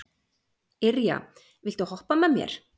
Irja, viltu hoppa með mér?